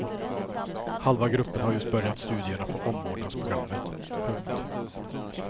Halva gruppen har just börjat studierna på omvårdnadsprogrammet. punkt